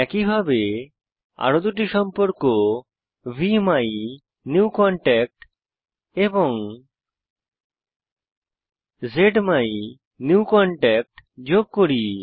একইভাবে আরো দুটি সম্পর্ক ভিমিনিউকন্ট্যাক্ট এবং জ্মাইনিউকনট্যাক্ট যোগ করি